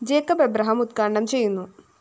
Jacob Abraham ഉദ്ഘാടനം ചെയ്യുന്നു